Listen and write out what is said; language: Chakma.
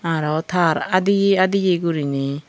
aro tar aadiye aadiye guriney.